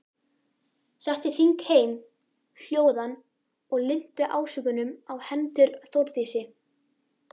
Setti þingheim hljóðan og linnti ásökunum á hendur Þórdísi.